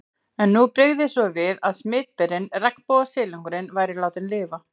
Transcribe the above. En nú brygði svo við að smitberinn, regnbogasilungurinn, væri látinn lifa.